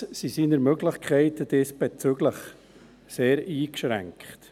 Allerdings sind seine Möglichkeiten diesbezüglich sehr eingeschränkt.